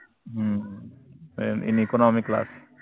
हम्म an economyclass